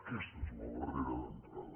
aquesta és la barrera d’entrada